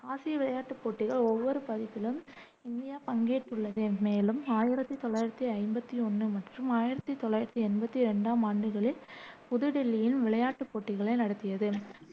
ஆசிய விளையாட்டுப் போட்டிகள் ஒவ்வொரு பதிப்பிலும் இந்தியா பங்கேற்றுள்ளது, மேலும் ஆயிரத்தி தொள்ளாயிரத்தி ஐம்பத்தி ஒண்ணு மற்றும் ஆயிரத்தி தொள்ளாயிரத்தி எண்பத்தி ரெண்டாம் ஆண்டுகளில் புதுதில்லியில் விளையாட்டுப் போட்டிகளை நடத்தியது.